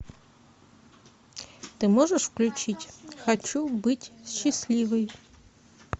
ты можешь включить хочу быть счастливой